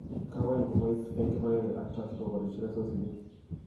Kagoyan kobois eng kibagenge ak Turkey koboirie chelesosinik